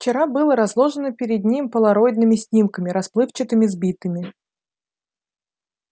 вчера было разложено перед ним полароидными снимками расплывчатыми сбитыми